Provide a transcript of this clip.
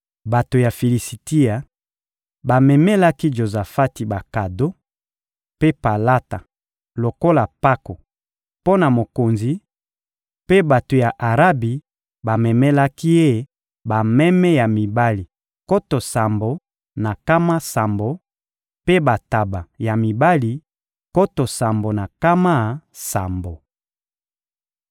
Bato ya Filisitia bamemelaki Jozafati bakado mpe palata lokola mpako mpo na mokonzi; mpe bato ya Arabi bamemelaki ye bameme ya mibali nkoto sambo na nkama sambo mpe bantaba ya mibali nkoto sambo na nkama sambo.